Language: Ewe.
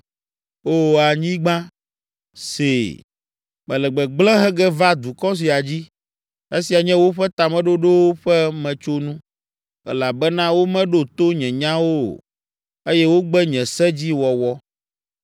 Oo, anyigba, see. Mele gbegblẽ he ge va dukɔ sia dzi, esia nye woƒe tameɖoɖowo ƒe metsonu, elabena womeɖo to nye nyawo o, eye wogbe nye se dzi wɔwɔ.